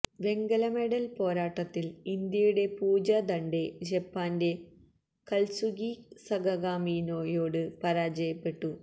വെങ്കല മെഡല് പോരാട്ടത്തില് ഇന്ത്യയുടെ പൂജ ധണ്ഡ ജപ്പാന്റെ കത്സുകി സകഗാമിയോട് പരാജയപ്പെട്ടു